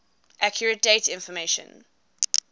accurate date information